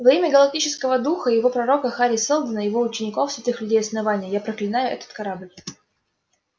во имя галактического духа и его пророка хари сэлдона его учеников святых людей основания я проклинаю этот корабль